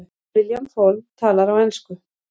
William Fall talar á ensku.